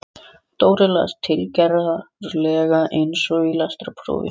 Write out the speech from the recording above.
Dóri las, tilgerðarlega eins og í lestrarprófi